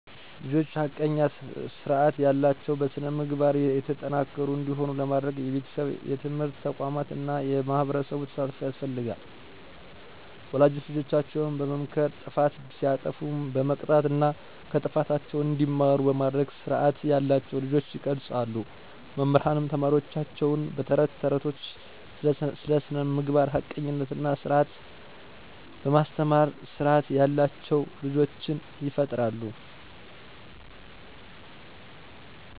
ልጆች ሐቀኛ፣ ስርዐት ያላቸው፣ በስነ-ምግባር የተጠናከሩ እንዲሆኑ ለማድረግ የቤተሰብ፣ የትምህርት ተቋማት እና የማህበረሰብ ተሳትፎ ያስፈልጋል። ወላጆች ልጆቻቸውን በመምከር ጥፋት ሲያጠፉም በመቅጣት እና ከጥፋታቸው እንዲማሩ በማድረግ ስርዐት ያላቸውን ልጆች ይቀርፃሉ። መምህራንም ተማሪወቻቸውን በ ተረት ተረቶቻቸው ስለ ስነምግባር፣ ሀቀኝነት እና ስርዐት በማስተማር ስርዓት ያላቸው ልጆችን ይፈጥራሉ።